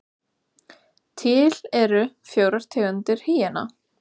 Til eru fjórar tegundir hýena.